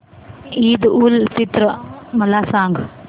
ईद उल फित्र मला सांग